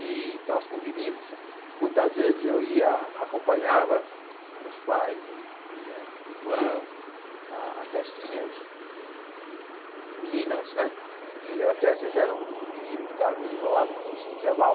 E nós convivimos Muitas vezes eu ia Acompanhava meus pais E minha irmã A festinhas De de de meninas né E eu até as vezes era o único menino Ficava meio isolado, mas me sentia mal